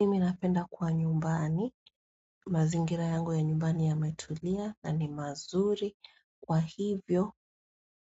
Mimi napenda kuwa nyumbani, mazingira yangu ya nyumbani yametulia, na ni mazuri, kwa hivyo,